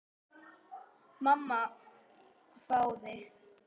Mamma hváir.